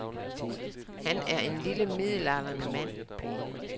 Han er en lille, midaldrende mand.